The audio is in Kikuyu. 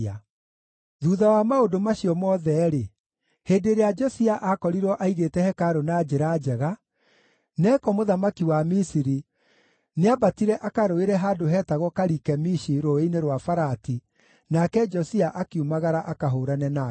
Thuutha wa maũndũ macio mothe-rĩ, hĩndĩ ĩrĩa Josia aakorirwo aigĩte hekarũ na njĩra njega, Neko mũthamaki wa Misiri nĩambatire akarũĩre handũ heetagwo Karikemishi Rũũĩ-inĩ rwa Farati, nake Josia akiumagara akahũũrane nake.